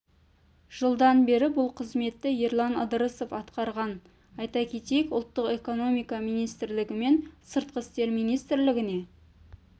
жылдан бері бұл қызметті ерлан ыдрысов атқарған айта кетейік ұлттық экономика министрлігі мен сыртқы істер министрлігіне